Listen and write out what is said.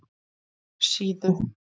Síðu